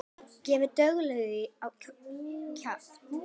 Gefðu duglega á kjaft.